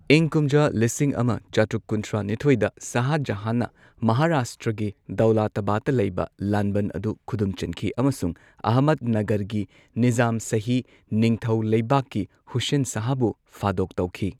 ꯏꯪ ꯀꯨꯝꯖꯥ ꯂꯤꯁꯤꯡ ꯑꯃ ꯆꯥꯇ꯭ꯔꯨꯛ ꯀꯨꯟꯊ꯭ꯔꯥ ꯅꯤꯊꯣꯏꯗ ꯁꯥꯍ ꯖꯍꯥꯟꯅ ꯃꯍꯥꯔꯥꯁꯇ꯭ꯔꯒꯤ ꯗꯧꯂꯥꯇꯥꯕꯥꯗꯇ ꯂꯩꯕ ꯂꯥꯟꯕꯟ ꯑꯗꯨ ꯈꯨꯗꯨꯝ ꯆꯟꯈꯤ ꯑꯃꯁꯨꯡ ꯑꯍꯃꯗꯅꯒꯔꯒꯤ ꯅꯤꯖꯥꯝ ꯁꯥꯍꯤ ꯅꯤꯡꯊꯧ ꯂꯩꯕꯥꯛꯀꯤ ꯍꯨꯁꯦꯟ ꯁꯥꯍꯕꯨ ꯐꯥꯗꯣꯛ ꯇꯧꯈꯤ꯫